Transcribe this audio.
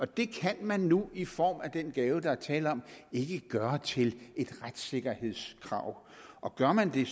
det kan man nu i form af den gave der er tale om ikke gøre til et retssikkerhedskrav og gør man det